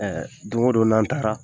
Don o don n' an taara